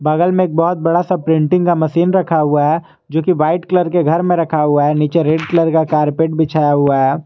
बगल में एक बहोत बड़ा सा प्रिंटिंग का मशीन रखा हुआ है जो की वाइट कलर के घर में रखा हुआ है नीचे हुआ है नीचे रेड कलर का कारपेट बिछाया हुआ है।